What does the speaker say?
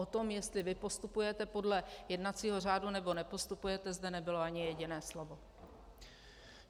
O tom, jestli vy postupujete podle jednacího řádu, nebo nepostupujete, zde nebylo ani jedné slovo.